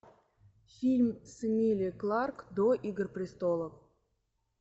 фильм с эмилией кларк до игр престолов